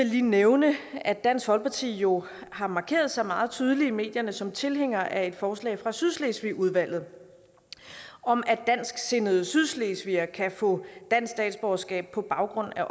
lige nævne at dansk folkeparti jo har markeret sig meget tydeligt i medierne som tilhængere af et forslag fra sydslesvigudvalget om at dansksindede sydslesvigere kan få dansk statsborgerskab på baggrund af